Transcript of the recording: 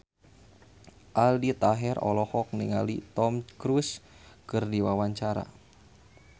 Aldi Taher olohok ningali Tom Cruise keur diwawancara